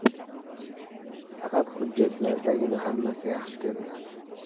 Faqat hujjatlardagina hammasi yaxshi ko‘rinadi.